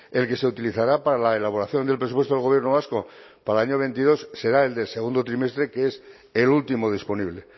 el que se utilizará para la elaboración del presupuesto del gobierno vasco para el año veintidós será el del segundo trimestre que es el último disponible